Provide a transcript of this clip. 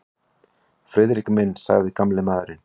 Friðrik minn sagði gamli maðurinn.